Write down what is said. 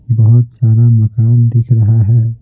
बहुत सारा मकान दिख रहा है।